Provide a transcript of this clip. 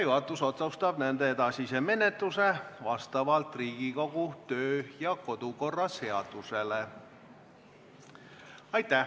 Juhatus otsustab nende edasise menetluse vastavalt Riigikogu kodu- ja töökorra seadusele.